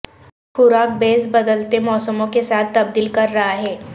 خوراک بیس بدلتے موسموں کے ساتھ تبدیل کر رہا ہے